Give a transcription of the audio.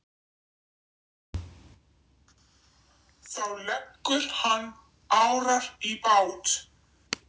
Þá leggur hann árar í bát.